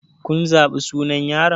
Kun zaɓi sunan yaron?